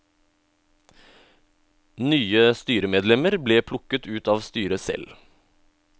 Nye styremedlemmer ble plukket ut av styret selv.